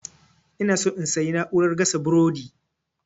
inaso in sayi na'urar gasa burodi